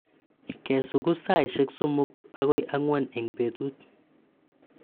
ke sugus saishek somok akoi ang'wan eng' petut